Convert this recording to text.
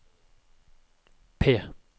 P